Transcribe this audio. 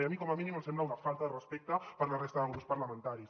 i a mi com a mínim em sembla una falta de respecte per la resta de grups parlamentaris